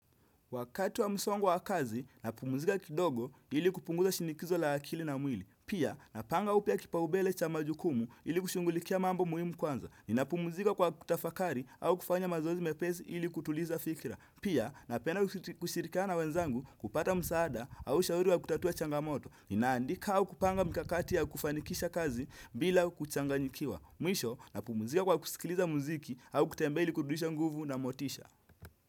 Wakati wa msongo wa kazi, napumzika kidogo ili kupunguza shinikizo la akili na mwili. Pia, napanga upya kipaombele cha majukumu ili kushughulikia mambo muhimu kwanza. Ninapumzika kwa kutafakari au kufanya mazoezi mepesi ili kutuliza fikira. Pia, napenda kushirikana wenzangu kupata msaada au ushauri wa kutatua changamoto. Ninaandika au kupanga mkakati ya kufanikisha kazi bila kuchanganyikiwa. Mwisho, napumuzika kwa kusikiliza muziki au kutembe ili kurudisha nguvu na motisha.